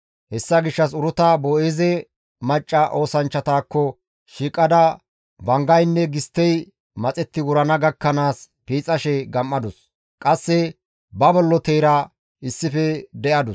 Hessa gishshas Uruta Boo7eeze macca oosanchchatakko shiiqada banggaynne gisttey maxetti wurana gakkanaas piixashe gam7adus. Qasse ba bolloteyra issife de7adus.